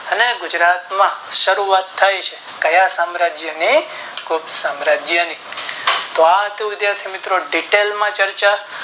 અને ગુજરાત માં શરૂઆત થાય છે ક્યાં સામ્રાજ્ય ની ગુપ્ત સામ્રાજ્ય ની કે તો વિદ્યથા થી મિત્રો